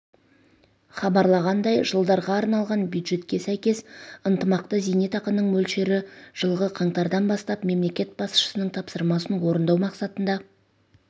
хабарлағандай жылдарға арналған бюджетке сәйкес ынтымақты зейнетақының мөлшері жылғы қаңтардан бастап мемлекет басшысының тапсырмасын орындау мақсатында